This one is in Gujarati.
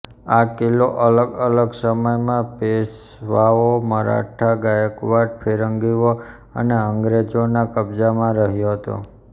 આ કિલ્લો અલગ અલગ સમયમાં પેશવાઓ મરાઠા ગાયકવાડ ફિરંગીઓ અને અંગ્રેજોનાં કબજામાં રહયો હતો